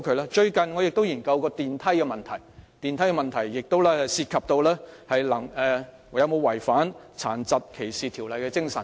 我最近研究了升降機的問題，亦關乎有否違反《殘疾歧視條例》的精神。